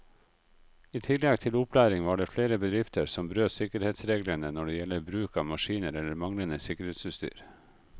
I tillegg til opplæring var det flere bedrifter som brøt sikkerhetsreglene når det gjelder bruk av maskiner eller manglende sikkerhetsutstyr.